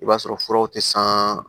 I b'a sɔrɔ furaw tɛ san